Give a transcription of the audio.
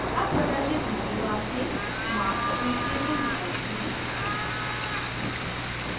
अब प्रदर्शित menu bar से mark for installation विकल्प चुनें